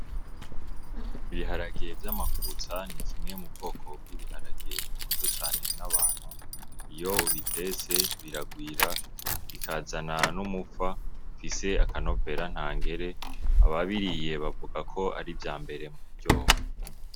Ibiharage vy'amakutsa ni kimwe mu bwoko bw'ibiharage bikunzwe cane n'abantu. Iyo ubitetse biragwira, bikazana n'umufa ufise akanovera ntangere, ababiriye bavuga ko ari ivyambere mu kuryoha.